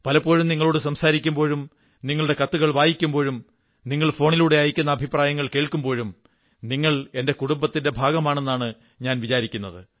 പലപ്പോഴും നിങ്ങളോടു സംസാരിക്കുമ്പോഴും നിങ്ങളുടെ കത്തുകൾ വായിക്കുമ്പോഴും നിങ്ങൾ ഫോണിലൂടെ അയയ്ക്കുന്ന അഭിപ്രായങ്ങൾ കേൾക്കുമ്പോഴും നിങ്ങൾ എന്റെ കുടുംബത്തിന്റെ ഭാഗമാണെന്നാണ് ഞാൻ വിചാരിക്കുന്നത്